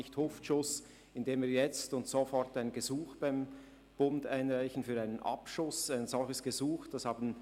Ein «Schuss aus der Hüfte» würde bedeuten, jetzt und sofort beim Bund ein Gesuch für einen Abschuss einzureichen.